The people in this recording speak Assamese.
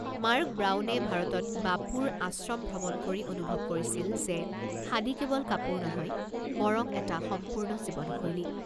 মাৰ্ক ব্ৰাউনে ভাৰতত বাপুৰ আশ্ৰম ভ্ৰমণ কৰি অনুভৱ কৰিছিল যে, খাদী কেৱল কাপোৰ নহয়, বৰং এটা সম্পূৰ্ণ জীৱনশৈলী।